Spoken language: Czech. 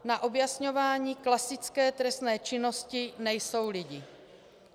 Na objasňování klasické trestné činnosti nejsou lidi.